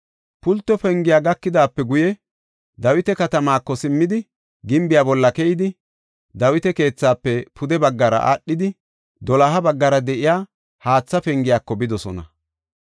Pulto Pengiya gakidaape guye Dawita Katamaako simmidi, gimbiya bolla keyidi, Dawita keethaafe pude baggara aadhidi, doloha baggara de7iya Haatha Pengiyako bidosona.